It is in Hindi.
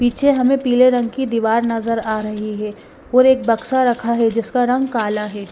पीछे हमें पीले रंग की दीवार नज़र आ रही है और एक बक्सा रखा है जिसका रंग काला है।